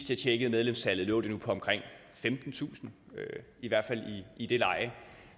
tjekkede medlemstallet lå det nu på omkring femtentusind i hvert fald i det leje